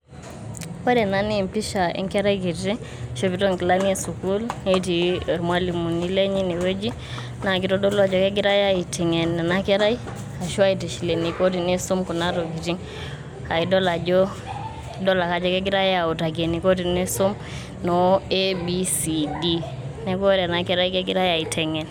Ore ena naa empisha Enkerai kiti eishopito Enkilani esukuul, netii irmalimuni lenye ine wueji naa keitodolu ajo kegirae aiteng'en ena kerai aashu aitishil eniko tenisum Kuna tokitin aa idol ajo idol ake ajo kegirae autaki eniko tenisum noo ABCD, neaku ore ena Kerai kegirai aiteng'en.